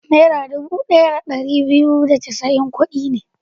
Naira dubu ɗaya da ɗari biyu da casa'in kuɗi ne.